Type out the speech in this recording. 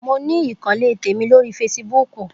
Mo ní ìkànnlé tèmi lórí feṣibúkù.